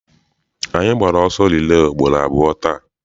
Anyị gbara ọsọ rilee ugboro abụọ taa.